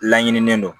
Laɲininen don